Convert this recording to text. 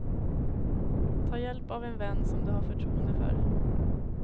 Ta hjälp av en vän som du har förtroende för.